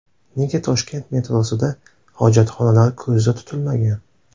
Nega Toshkent metrosida hojatxonalar ko‘zda tutilmagan?.